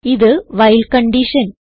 ഇത് while condition